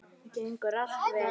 Gengur allt vel?